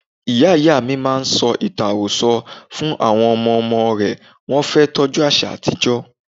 Ìyá Ìyámi ṣì máa ń sọ ìtàn àròsọ fún àwọn ọmọ ọmọ rẹ̀, wọn fẹ́ tọ́jú àṣà àtijó.